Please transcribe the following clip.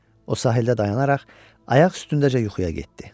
O sahildə dayanaraq ayaq üstündəcə yuxuya getdi.